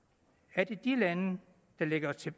er det de lande der ligger til